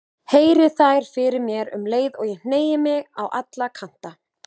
Heyri þær fyrir mér um leið og ég hneigi mig á alla kanta.